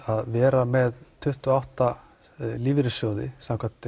að vera með tuttugu og átta lífeyrissjóði samkvæmt